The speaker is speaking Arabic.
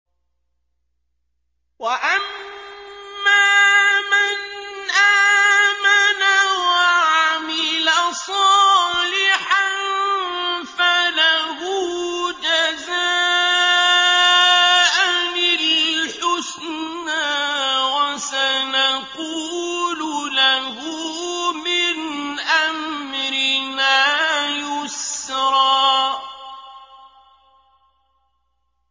وَأَمَّا مَنْ آمَنَ وَعَمِلَ صَالِحًا فَلَهُ جَزَاءً الْحُسْنَىٰ ۖ وَسَنَقُولُ لَهُ مِنْ أَمْرِنَا يُسْرًا